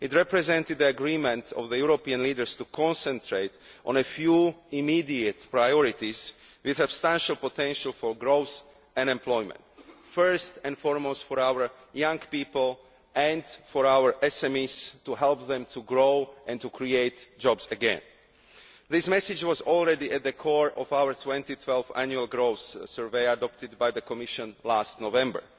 It represented agreement among Europe's leaders to concentrate on a few immediate priorities with substantial potential for growth and employment first and foremost for our young people and for our SMEs, to help them to grow and to create jobs again. This message was already at the core of our 2012 Annual Growth Survey adopted by the Commission last November